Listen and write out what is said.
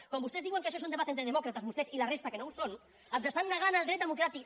quan vostès diuen que això és un debat entre demòcrates vostès i la resta que no ho són ens estan negant el dret democràtic